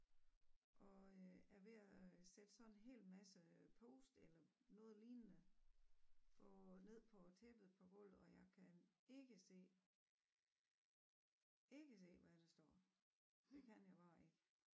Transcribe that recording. Og øh er ved at sætte sådan en helt masse post eller noget lignende på ned på tæppet på gulvet og jeg kan ikke se ikke se hvad der står det kan jeg bare ikke